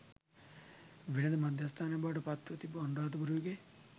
වෙළෙඳ මධ්‍යස්ථානයක් බවට පත්ව තිබූ අනුරාධපුර යුගයේ